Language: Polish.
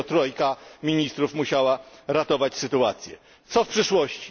Dopiero trójka ministrów musiała ratować sytuację. Co w przyszłości?